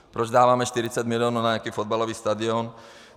Proč dáváme 40 mil. na nějaký fotbalový stadion?